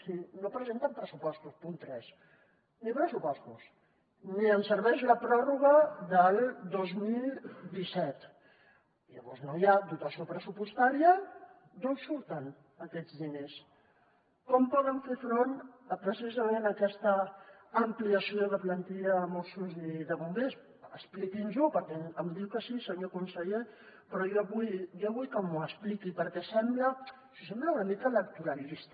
si no presenten pressupostos punt tres ni pressupostos ni ens serveix la pròrroga del dos mil disset llavors no hi ha dotació pressupostària d’on surten aquests diners com poden fer front a precisament aquesta ampliació de plantilla de mossos i de bombers expliqui’ns ho perquè em diu que sí senyor conseller però jo vull que m’ho expliqui perquè sembla una mica electoralista